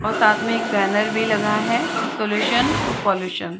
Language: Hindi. और साथ में एक बेनर भी लगा है सोल्यूशन टू पोल्यूशन --